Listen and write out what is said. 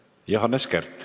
Johannes Kert.